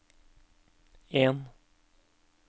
en